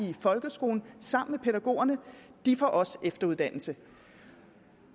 i folkeskolen sammen med pædagogerne får også efteruddannelse